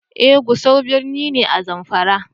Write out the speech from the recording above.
Eh Gusau birni ne, a zamfara.